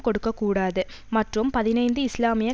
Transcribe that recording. கொடுக்க கூடாது மற்றும் பதினைந்து இஸ்லாமிய